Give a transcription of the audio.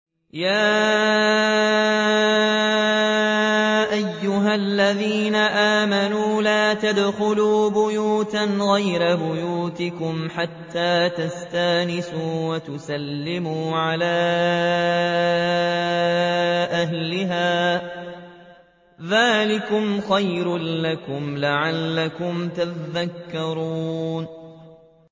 يَا أَيُّهَا الَّذِينَ آمَنُوا لَا تَدْخُلُوا بُيُوتًا غَيْرَ بُيُوتِكُمْ حَتَّىٰ تَسْتَأْنِسُوا وَتُسَلِّمُوا عَلَىٰ أَهْلِهَا ۚ ذَٰلِكُمْ خَيْرٌ لَّكُمْ لَعَلَّكُمْ تَذَكَّرُونَ